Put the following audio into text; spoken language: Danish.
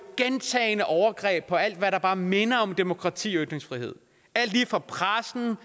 gentagne overgreb på alt hvad der bare minder om demokrati og ytringsfrihed på pressen